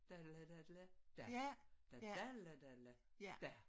Daddela daddela da. Dadadela dadela da